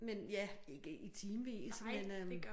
Men ja ikke i timevis men øh